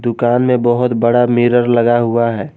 दुकान में बहुत बड़ा मिरर लगा हुआ है।